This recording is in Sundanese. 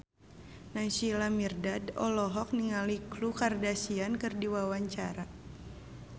Naysila Mirdad olohok ningali Khloe Kardashian keur diwawancara